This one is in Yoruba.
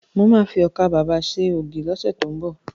Mo ma fi ọkà babà ṣe ògì lọ́sẹ̀ tó ń bọ̀